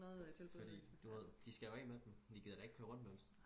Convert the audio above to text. fordi du ved de skal jo af med dem de gider da ikke køre rundt med dem